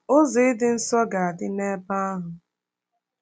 Ụzọ Ịdị nsọ ga-adị n’ebe ahụ